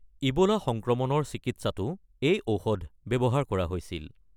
Ebola সংক্ৰমণৰ চিকিৎসাতো এই ঔষধ ব্যৱহাৰ কৰা হৈছিল।